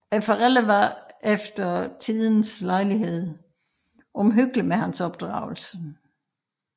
Forældrene var efter tidens lejlighed omhyggelige med hans opdragelse